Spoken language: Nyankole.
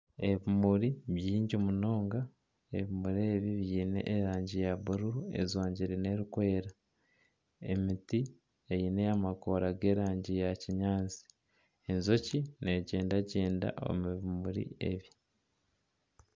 Ebimuri bingi munonga ebirmuri ebi biine erangi ya bururu ejwangire n'erikwera, emiti eine amakoora g'erangi ya kinyaatsi, enjoki n'egyendagyenda omu bimuri ebi.